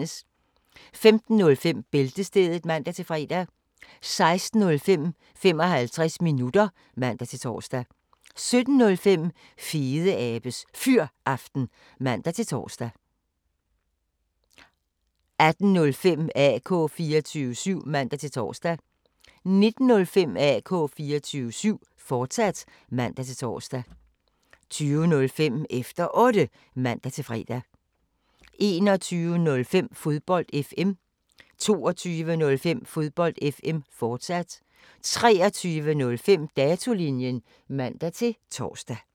15:05: Bæltestedet (man-fre) 16:05: 55 minutter (man-tor) 17:05: Fedeabes Fyraften (man-tor) 18:05: AK 24syv (man-tor) 19:05: AK 24syv, fortsat (man-tor) 20:05: Efter Otte (man-fre) 21:05: Fodbold FM 22:05: Fodbold FM, fortsat 23:05: Datolinjen (man-tor)